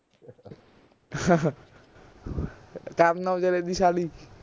ਕਰਨ ਔਜਲੇ ਦੀ ਸਾਲੀ